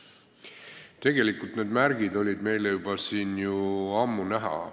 Tegelikult need märgid on meile siin juba ammu näha.